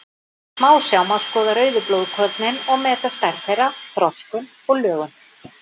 Í smásjá má skoða rauðu blóðkornin og meta stærð þeirra, þroskun og lögun.